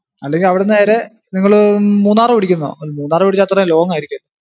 അല്ലെങ്കിൽ അവിടുന്ന് നേരെ നിങ്ങള് മൂന്നാർ പിടിക്കുന്നോ? മൂന്നാർ പിടിച്ച അത്രേം long ആയിരിക്കും.